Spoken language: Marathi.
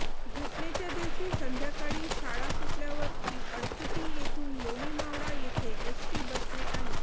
घटनेच्या दिवशी संध्याकाळी शाळा सुटल्यावर ती अळकुटी येथून लोणीमावळा येथे एसटी बसने आली